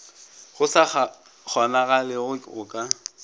go sa kgonagalego go ka